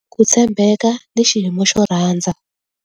Ku tshembeka ni xiyimo xo rhandza.